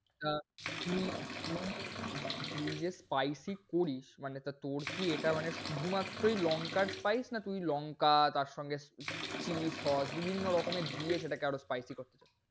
আহ উম উম তুমি যে spicy করিস মানে তা তোর কি এটা মানে শুধুমাত্রই লঙ্কার spice না তুই লঙ্কা তার সঙ্গে chilli sauce বিভিন্ন রকমের দিয়ে সেটাকে আরও spicy করতে চাস?